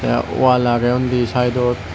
tey wall agye undi sidot.